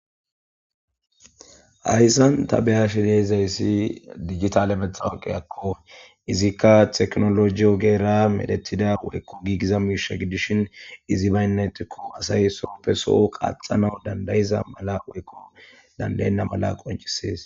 Hayssan ta beya shineezayssi dijitale betha woqeyakko izikka teknoloji ogeera medettida woykko giigiza miisha gidishin izi baynnetikko asay soppe soho qaxana dandayiza mala woykko dandaynna mala qoncisees.